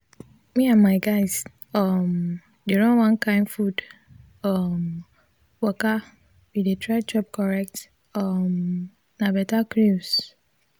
me and my guys um dey run one kin food um waka we dey try chop correct um nah better cruise.